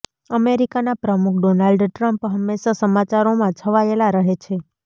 અમેરિકાના પ્રમુખ Donald Trump હંમેશા સમાચારોમાં છવાયેલા રહે છે